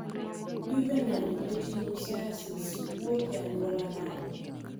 Juvenile retinoschisis wuok e anyuola nade